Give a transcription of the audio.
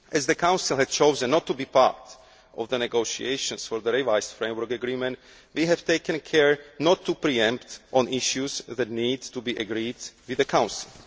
too. As the Council had chosen not to be part of the negotiations on the revised framework agreement, we have taken care not to pre empt on issues that need to be agreed with the